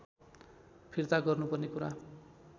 फिर्ता गर्नुपर्ने कुरा